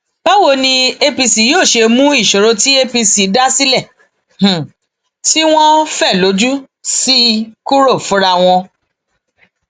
báwo ni apc yóò ṣe mú ìṣòro tí apc um dá sílẹ tí wọn fẹ lójú um sí i kúrò fúnra wọn